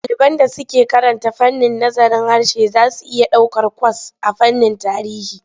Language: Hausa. Ɗaliban da suke karanta fannin nazarin harshe za su iya ɗaukar kwas a fannin tarihi.